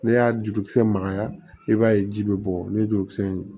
Ne y'a jurukisɛ magaya i b'a ye ji bɛ bɔ ni jurukisɛ in ye